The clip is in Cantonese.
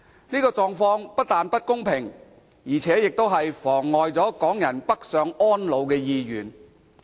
這狀況不但不公平，而且更妨礙港人北上安老的計劃。